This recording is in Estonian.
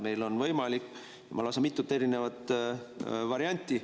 Meil on võimalik lausa mitu varianti.